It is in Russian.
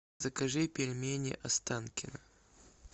закажи пельмени останкино